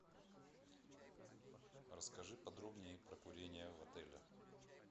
расскажи подробнее про курение в отеле